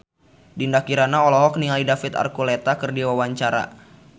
Dinda Kirana olohok ningali David Archuletta keur diwawancara